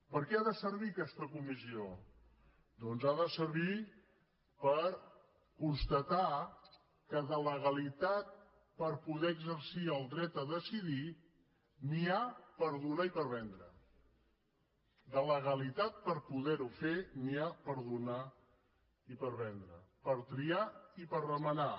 per què ha de servir aquesta comissió doncs ha de servir per constatar que de legalitat per poder exercir el dret a decidir n’hi ha per donar i per vendre de legalitat per poder ho fer n’hi ha per donar i per vendre per triar i per remenar